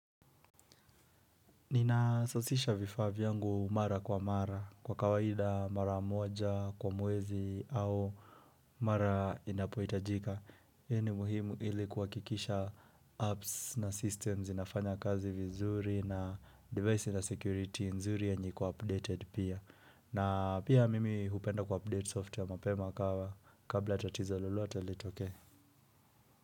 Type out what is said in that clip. Nina sasisha vifaa yangu mara kwa mara kwa kawaida mara moja kwa mwezi au mara inapohitajika. Ye ni muhimu ili kuhakikisha apps na systems zinafanya kazi vizuri na device na security nzuri yenye iko updated pia. Na pia mimi hupenda ku update software mapema ka kabla tatizo lolote litoke.